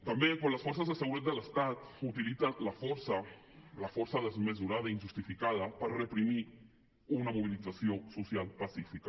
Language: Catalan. també quan les forces de seguretat de l’estat utilitzen la força la força desmesurada i injustificada per reprimir una mobilització social pacífica